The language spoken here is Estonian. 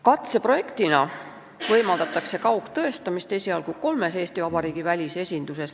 Katseprojekti käigus võimaldatakse kaugtõestamist esialgu kolmes Eesti Vabariigi välisesinduses.